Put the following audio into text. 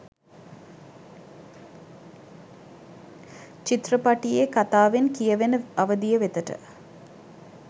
චිත්‍රපටියේ කථාවෙන් කියවෙන අවධිය වෙතට.